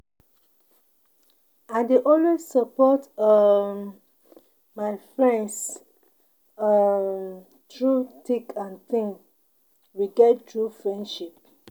I dey always support um my friends um through thick and thin, we get true friendship.